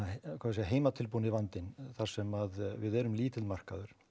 heimatilbúni vandinn þar sem að við erum lítill markaður